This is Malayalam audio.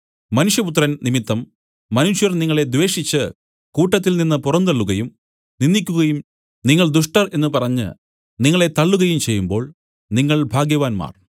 മനുഷ്യപുത്രൻ നിമിത്തം മനുഷ്യർ നിങ്ങളെ ദ്വേഷിച്ച് കൂട്ടത്തിൽനിന്ന് പുറന്തള്ളുകയും നിന്ദിക്കുകയും നിങ്ങൾ ദുഷ്ടർ എന്നു പറഞ്ഞ് നിങ്ങളെ തള്ളുകയും ചെയ്യുമ്പോൾ നിങ്ങൾ ഭാഗ്യവാന്മാർ